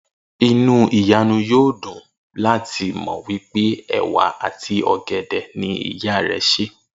Inú Ìyànu yóò dùn láti mò̩ pé è̩wà àti ò̩gè̩dè̩ ni ìyá rè̩ sè